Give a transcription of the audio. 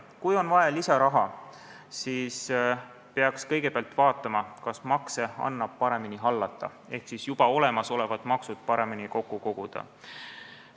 Kui on vaja lisaraha, siis peaks kõigepealt vaatama, kas makse annab paremini hallata ehk juba olemasolevaid makse paremini kokku koguda.